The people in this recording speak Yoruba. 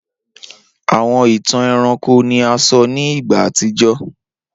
Awọn itan ẹranko ni a sọ ni igba atijọ.